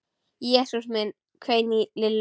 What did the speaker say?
Jesús minn hvein í Lillu.